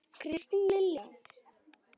Kristín Lilja.